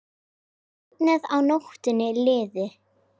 Bara að nóttin liði.